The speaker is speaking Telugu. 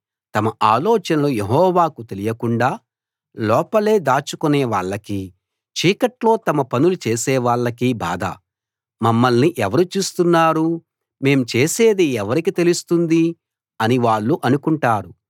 తమ ఆలోచనలు యెహోవాకి తెలియకుండా లోపలే దాచుకునే వాళ్లకీ చీకట్లో తమ పనులు చేసే వాళ్ళకీ బాధ మమ్మల్ని ఎవరు చూస్తున్నారు మేం చేసేది ఎవరికీ తెలుస్తుంది అని వాళ్ళు అనుకుంటారు